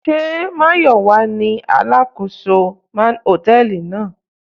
Sé manager ni àkóso hòtẹ́ẹ̀lì náà?